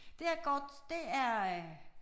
Det her kort det er øh